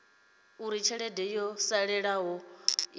uri tshelede yo salelaho i